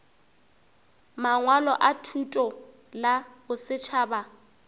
mangwalo a thuto la bosetšhaba